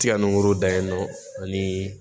Tiga nun kolo dayɛlɛ ani